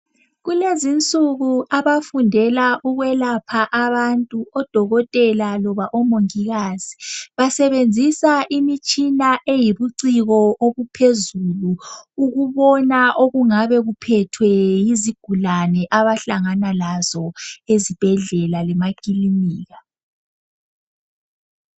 Kulezinsuku abafundela ukwelapha abantu odokotela loba omongikazi, basebenzisa imitshina eyibuciko obuphezulu ukubona okungabe kuphethwe yizigulane abahlangana lazo ezibhedlela lemakilinika.